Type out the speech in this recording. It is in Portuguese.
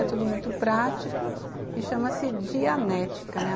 É tudo muito prático e chama-se Dianética, né?